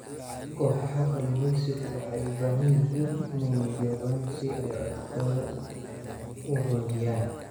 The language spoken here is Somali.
Kooxaha kalluumaysigu waxay u baahan yihiin inay midoobaan si ay codkooda u xoojiyaan.